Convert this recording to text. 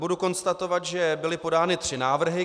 Mohu konstatovat, že byly podány tři návrhy.